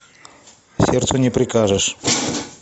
сердцу не прикажешь